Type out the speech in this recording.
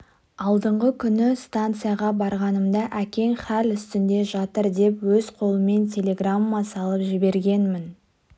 алдыңғы күні станцияға барғанымда әкең хәл үстінде жатыр деп өз қолыммен телеграмма салып жібергенмін